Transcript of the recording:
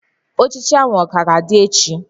Ochichi a ka ga-adị echi?